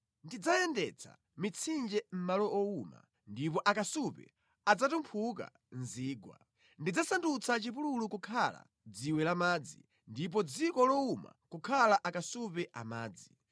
Ndidzayendetsa mitsinje mʼmalo owuma, ndi akasupe adzatumphuka mu zigwa. Ndidzasandutsa chipululu kukhala dziwe la madzi ndipo dziko lowuma kukhala akasupe a madzi.